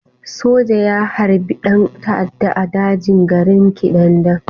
Soja ya harbi ɗan ta'adda a daji a garin Kidandan?